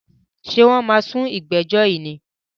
Ṣé wọ́n máa sú ìgbẹ́jọ́ yìí ni?